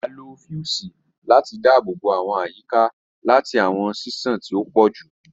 A lo fiusi lati daabobo awọn iyika lati awọn ṣiṣan ti o pọ ju